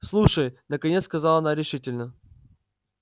слушай наконец сказала она решительно